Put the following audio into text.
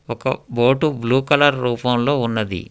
Go boat blue colour రూపంలో ఉన్నది.